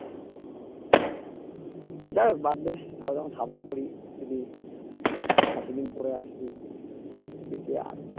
যা বাদদে তারা যখন support করি এইজি এতদিন করে আসছি KKR